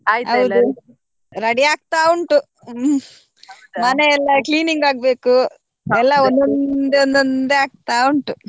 ಹೌದು ready ಆಗ್ತಾ ಉಂಟು ಹ್ಮ್ ಮನೆ ಎಲ್ಲ cleaning ಆಗ್ಬೇಕು ಎಲ್ಲ ಒಂದೊಂದೇ ಒಂದೊಂದೇ ಆಗ್ತಾ ಉಂಟು.